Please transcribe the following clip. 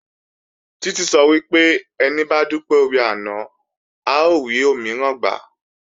Títí sọ wípé "Ẹni bá dúpẹ́ oore àná, á rí òmíràn gbà"